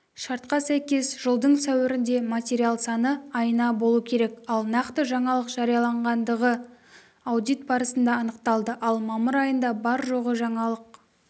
шартқа сәйкес жылдың сәуірінде материал саны айына болу керек ал нақты жаңалық жарияланғандығы аудит барысында анықталды ал мамыр айында бар-жоғы жаңалық